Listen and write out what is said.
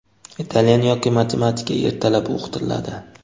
italyan yoki matematika ertalab o‘qitiladi.